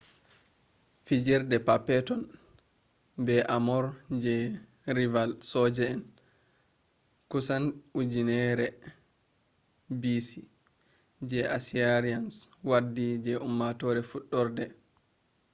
fijirdeji perpeton be armor je rival soja en. kusan 1000b.c. je assyrians waddi je ummatore fudarde